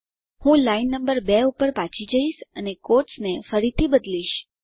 હું line number 2 પર પાછી જઈશ અને ક્વોટ્સ ને ફરીથી બદલીશ